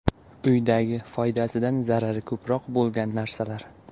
Uydagi foydasidan zarari ko‘proq bo‘lgan narsalar.